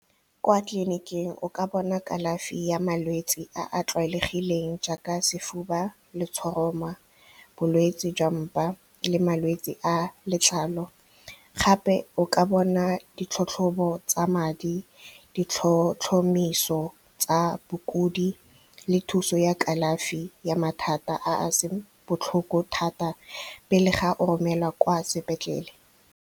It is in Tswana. Kwa tleliniking o ka bona kalafi ya malwetse a a tlwaelegileng jaaka sefuba, letshoroma, bolwetsi jwa mpa le malwetsi a letlalo, gape o ka bona ditlhatlhobo tsa madi, ditlhotlhomiso tsa bokodi le thuso ya kalafi ya mathata a a seng botlhoko thata pele ga o romelwa kwa sepetlele.